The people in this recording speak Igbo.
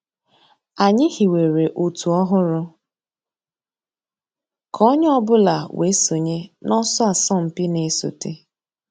Ànyị̀ hìwèrè ọ̀tù òhụ́rù kà ònyè ọ̀ bula wée sọǹyé n'ọ̀sọ̀ àsọ̀mpị̀ nà-èsọ̀té.